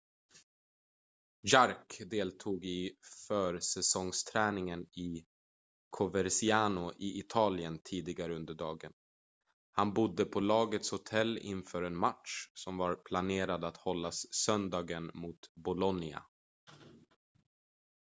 jarque deltog i försäsongsträningen i coverciano i italien tidigare under dagen han bodde på lagets hotell inför en match som var planerad att hållas söndagen mot bolonia